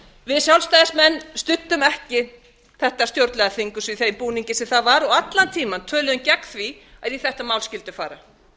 við sjálfstæðismenn studdum ekki þetta stjórnlagaþing í bið búningi sem það var og allan tímann töluðum við gegn því að í þetta mál skyldi fara fyrst